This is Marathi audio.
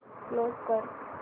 क्लोज कर